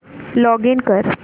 login कर